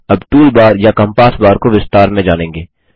अब tool bar या compass bar को विस्तार में जानेंगे